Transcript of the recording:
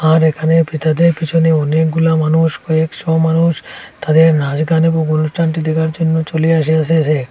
আর এখানে পিতাদের পিছনে অনেকগুলা মানুষ কয়েকশো মানুষ তাদের নাসগান এবং অনুষ্ঠানটি দেখার জন্য চলে আসি আসিয়াসে।